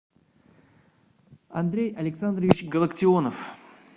андрей александрович галактионов